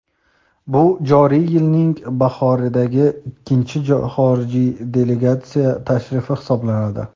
bu joriy yilning bahoridagi ikkinchi xorijiy delegatsiya tashrifi hisoblanadi.